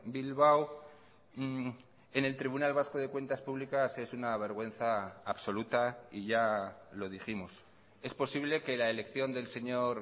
bilbao en el tribunal vasco de cuentas públicas es una vergüenza absoluta y ya lo dijimos es posible que la elección del señor